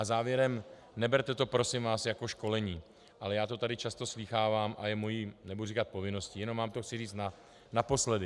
A závěrem, neberte to prosím vás jako školení, ale já to tady často slýchávám a je mou, nebudu říkat povinností, jenom vám to chci říct naposledy.